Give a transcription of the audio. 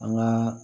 An ŋaa